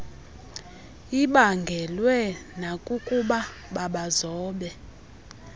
ibaangelwe nakukuba babazobe